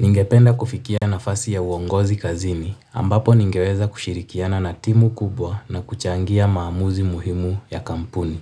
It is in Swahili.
Ningependa kufikia nafasi ya uongozi kazini ambapo ningeweza kushirikiana na timu kubwa na kuchangia maamuzi muhimu ya kampuni.